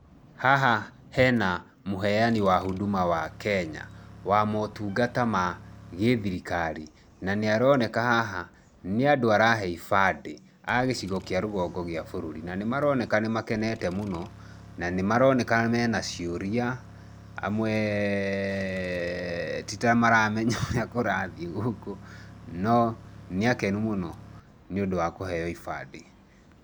Haha he na Mũheani wa huduma wa Kenya. Wa motungata ma gĩ thirikari.v Na nĩ aroneka haha nĩ andũ arahe ibandĩ, a gĩchigo kĩa rũgongo gĩa bũrũri. Na nĩ maroneka makenete mũno. Na nĩ maroneka me na ciũria. Amwe ti ta mataramenya ũrĩa kũrathiĩ gũkũ. No nĩ akenu nĩ ũndũ wa kũheo ibandĩ.